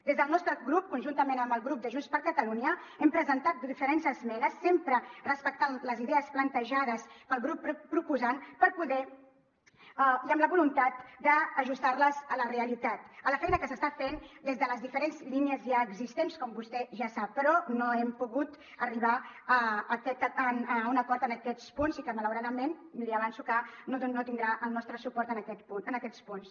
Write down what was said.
des del nostre grup conjuntament amb el grup de junts per catalunya hem presentat diferents esmenes sempre respectant les idees plantejades pel grup proposant amb la voluntat d’ajustar les a la realitat a la feina que s’està fent des de les diferents línies ja existents com vostè ja sap però no hem pogut arribar a un acord en aquests punts i malauradament li avanço que no tindrà el nostre suport en aquests punts